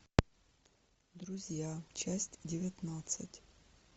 друзья часть девятнадцать